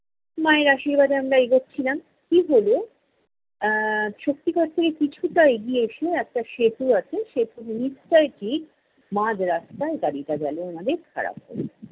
মায়ের আশীর্বাদে আমরা এগোচ্ছিলাম। কী হলো, এ্যা শক্তিগড় থেকে কিছুটা এগিয়ে এসে একটা সেতু আছে, সেতুর নীচ টায় ঠিক মাঝরাস্তায় গাড়িটা গেল আমাদের খারাপ হয়ে।